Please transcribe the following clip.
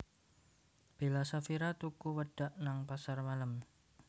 Bella Saphira tuku wedhak nang pasar malem